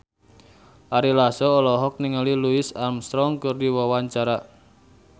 Ari Lasso olohok ningali Louis Armstrong keur diwawancara